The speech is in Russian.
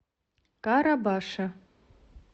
карабаше